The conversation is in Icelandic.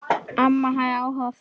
Amma hafði áhuga á fötum.